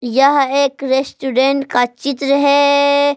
यह एक रेस्टोरेंट का चित्र है।